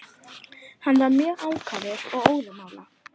Hann var mjög ákafur og óðamála.